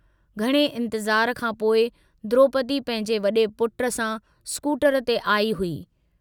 घणे इन्तज़ार खां पोइ द्रोपदी पंहिंजे वडे पुट सां स्कूटर ते आई हुई।